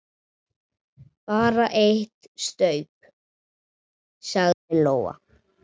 Bara eitt staup, sagði Lóa.